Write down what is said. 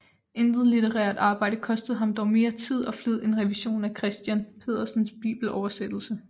Intet litterært arbejde kostede ham dog mere tid og flid end revisionen af Christiern Pedersens bibeloversættelse